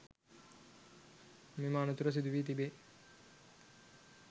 මෙම අනතුර සිදුවී තිබේ